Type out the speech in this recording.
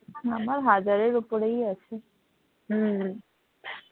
আমার হাজারের ওপরেই আছে হম